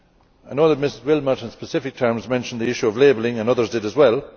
I know that Ms Willmott, in specific terms, mentioned the issue of labelling and others did as well.